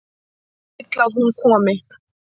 Vill að hún komi.